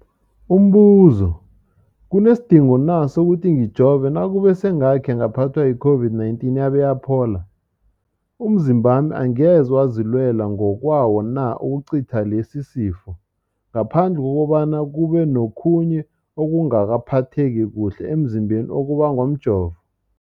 Umbuzo, kunesidingo na sokuthi ngijove nakube sengakhe ngaphathwa yi-COVID-19 yabe yaphola? Umzimbami angeze wazilwela ngokwawo na ukucitha lesisifo, ngaphandle kobana kube nokhunye ukungaphatheki kuhle emzimbeni okubangwa mjovo?